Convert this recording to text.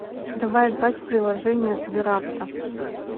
давай играть в приложение сберавто